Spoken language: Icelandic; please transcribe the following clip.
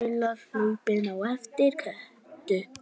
Lilla hlaupin á eftir Kötu.